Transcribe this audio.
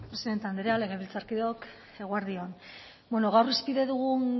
presidente anderea legebiltzarkideok eguerdi on bueno gaur hizpide dugun